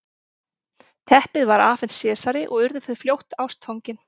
teppið var afhent sesari og urðu þau fljótt ástfangin